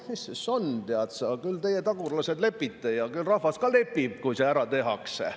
"Mis see siis on, tead sa, küll teie, tagurlased, lepite ja küll rahvas ka lepib, kui see ära tehakse.